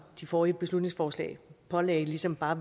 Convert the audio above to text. de forrige beslutningsforslag pålagde ligesom bare